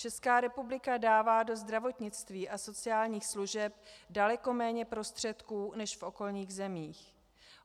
Česká republika dává do zdravotnictví a sociálních služeb daleko méně prostředků než v okolních zemích.